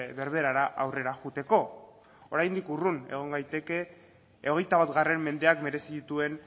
berberara aurrera joateko oraindik urrun egon gaitezke hogeita bat mendeak merezi dituen